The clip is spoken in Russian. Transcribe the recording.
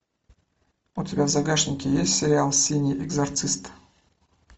у тебя в загашнике есть сериал синий экзорцист